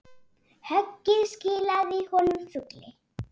Höggið skilaði honum fugli.